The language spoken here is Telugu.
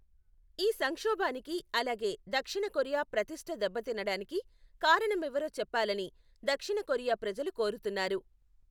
ఈ సంక్షోభానికి, అలాగే దక్షిణ కొరియా ప్రతిష్ట దెబ్బతినడానికి కారణమెవరో చెప్పాలని దక్షిణ కొరియా ప్రజలు కోరుతున్నారు.